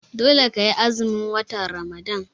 Dole ka yi azumin watan Ramadan!